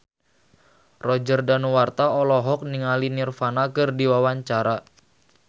Roger Danuarta olohok ningali Nirvana keur diwawancara